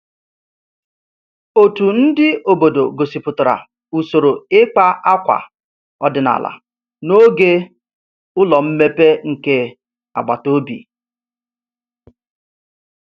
Otu ndị obodo gosipụtara usoro ịkpa akwa ọdịnala n'oge ụlọ mmepe nke agbata obi